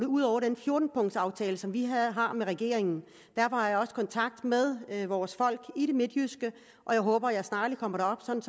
ud over den fjorten punkts aftale som vi har med regeringen derfor har jeg også kontakt med vores folk i det midtjyske og jeg håber at jeg snarligt kommer derop sådan